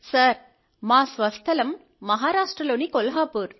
sir మా స్వస్థలం మహారాష్ట్రలోని కొల్హాపూర్